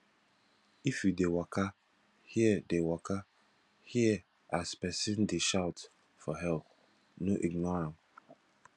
if you dey waka hear dey waka hear as pesin dey shout for help no ignore am